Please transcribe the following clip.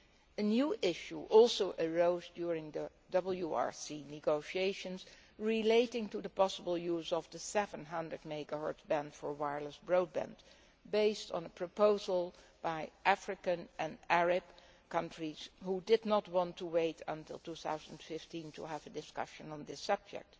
A new issue also arose during the WRC negotiations relating to the possible use of the 700 MHz band for wireless broadband, based on a proposal by African and Arab countries which did not want to wait until 2015 to have a discussion on this subject.